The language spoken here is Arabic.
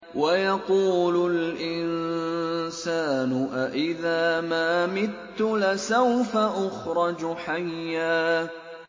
وَيَقُولُ الْإِنسَانُ أَإِذَا مَا مِتُّ لَسَوْفَ أُخْرَجُ حَيًّا